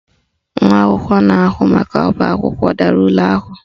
Nwa akwụkwọ na-ahụ maka ọbaakwụkwọ dara ule ahụ